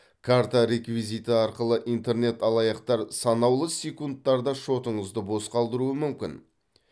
карта реквизиті арқылы интернет алаяқтар санаулы секундтарда шотыңызды бос қалдыруы мүмкін